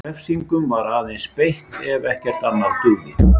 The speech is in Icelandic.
Refsingum var aðeins beitt ef ekkert annað dugði.